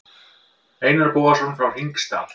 Einar Bogason frá Hringsdal.